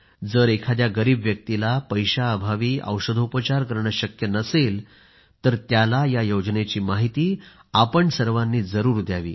जर एखाद्या गरीब व्यक्तीला पैशाअभावी औषधोपचार करणं शक्य नसेल तर त्याला या योजनेची माहिती आपण सर्वांनी जरूर द्यावी